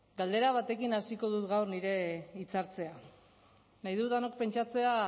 galdera batekin hasiko dut gaurko nire hitzartzea nahi dut denok pentsatzea